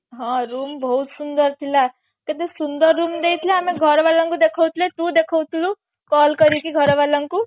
ହଁ room ବହୁତ ସୁନ୍ଦର ଥିଲା କେତେ ସୁନ୍ଦର room ଦେଇଥିଲେ ଆମେ ଘର ବାଲାଙ୍କୁ ଦେଖେଉ ଥିଲେ ତୁ ଦେଖୋଉ ଥିଲୁ call କରିକି ଘର ବାଲାଙ୍କୁ